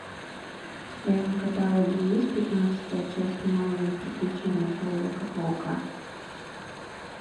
в твоем каталоге есть пятнадцатая часть новые приключения человека паука